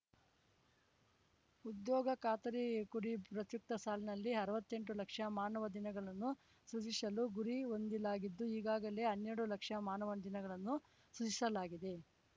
ಉದ್ಯೋಗ ಖಾತರಿಕುಡಿ ಪ್ರಸಕ್ತ ಸಾಲಿನಲ್ಲಿ ಅರ್ವತ್ತೆಂಟು ಲಕ್ಷ ಮಾನವ ದಿನಗಳನ್ನು ಸೃಜಿಸಲು ಗುರಿ ಹೊಂದಲಾಗಿದ್ದು ಈಗಾಗಲೇ ಹನ್ನೆರಡು ಲಕ್ಷ ಮಾನವ ದಿನಗಳನ್ನು ಸೃಜಿಸಲಾಗಿದೆ